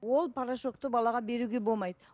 ол порошокты балаға беруге болмайды